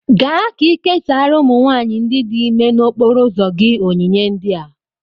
Gaa ka ị késárá ụmụ nwanyị ndị dị ímé n'okporo ụzọ gị onyinye ndị a